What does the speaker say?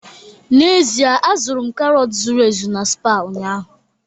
N'ezie, azụrụ m karọt zuru ezu na Spar ụnyaahụ